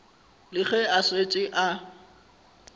le ge a šetše a